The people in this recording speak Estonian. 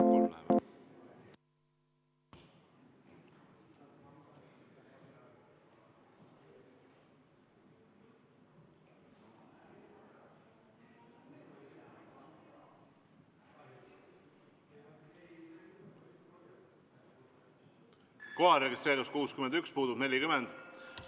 Kohalolijaks registreerus 61 Riigikogu liiget, puudub 40.